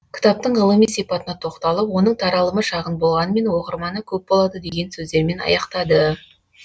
кітаптың ғылыми сипатына тоқталып оның таралымы шағын болғанмен оқырманы көп болады деген сөздермен аяқтады